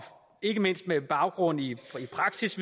ikke mindst med baggrund i praktisk